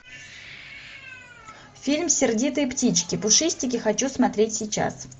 фильм сердитые птички пушистики хочу смотреть сейчас